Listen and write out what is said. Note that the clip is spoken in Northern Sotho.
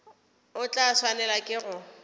o tla swanelwa ke go